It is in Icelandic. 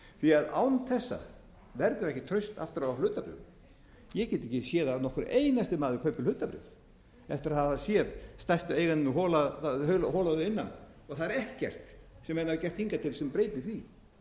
því að án þessa verður ekkert traust aftur á hlutabréfum ég get ekki séð að nokkur einasti maður kaupi hlutabréf eftir að hafa stærstu eigendurna hola að innan og það er ekkert sem menn hafa gert hingað til sem breytir því